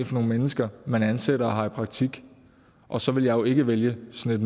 for nogle mennesker man ansætter og har i praktik og så vil jeg jo ikke vælge sådan et